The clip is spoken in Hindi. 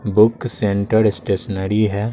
बुक सेंटर स्टेशनरी है।